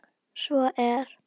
Svo er